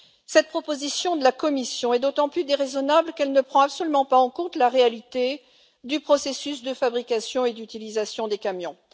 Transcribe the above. Cette proposition de la Commission est d'autant plus déraisonnable qu'elle ne prend absolument pas en compte la réalité du processus de fabrication et d'utilisation des camions.